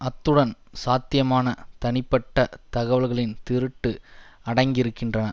அத்துடன் சாத்தியமான தனிப்பட்ட தகவல்களின் திருட்டு அடங்கியிருக்கின்றன